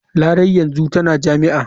Larai yanzu tana jami'a.